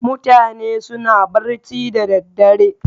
Mutane suna barci da daddare.